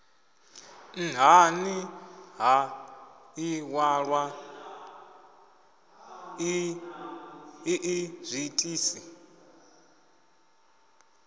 nhani ha iwalwa ii zwiitisi